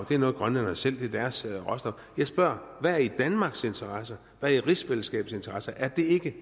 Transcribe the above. det er noget grønlænderne selv det er deres råstof jeg spørger hvad er i danmarks interesse hvad er i rigsfællesskabets interesse er det ikke